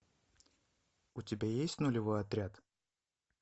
у тебя есть нулевой отряд